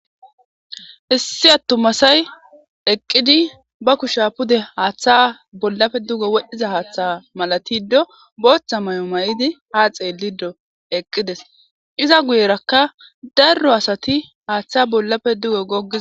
Issi attuma asayi eqqidi ba kushsa pudde haththa bollappe dugge wodhdhiza haththa malattido boththa mayo mayiddi ha xellido eqqidis iza guyerraka daro asati haththa bollappe dugge goggiza.